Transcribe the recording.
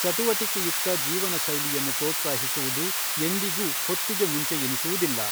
ಚಟುವಟಿಕೆಯುಕ್ತ ಜೀವನ ಶೈಲಿಯನ್ನು ಪ್ರೋತ್ಸಾಹಿಸುವುದು ಎಂದಿಗೂ ಹೊತ್ತಿಗೆ ಮುಂಚೆಯೆನಿಸುವುದಿಲ್ಲ .